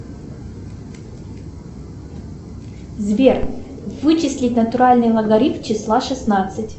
сбер вычислить натуральный логарифм числа шестнадцать